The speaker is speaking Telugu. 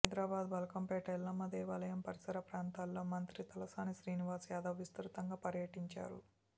హైదరాబాద్ బల్కంపేట ఎల్లమ్మ దేవాలయం పరిసర ప్రాంతాల్లో మంత్రి తలసాని శ్రీనివాస్ యాదవ్ విస్తృతంగా పర్యటించారు